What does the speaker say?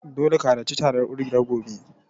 Dole ka harci taron kungiyar gobe.